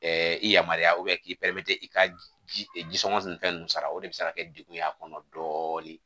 Ɛɛ i yamaruya k'i i ka jisɔngɔ ni fɛn ninnu sara o de bɛ se ka kɛ degun ye a kɔnɔ dɔɔnin